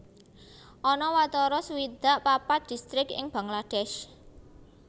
Ana watara swidak papat distrik ing Bangladesh